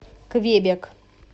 квебек